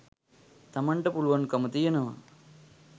තමන්ට පුළුවන්කම තියෙනවා.